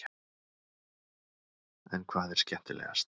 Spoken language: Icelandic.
En hvað er skemmtilegast?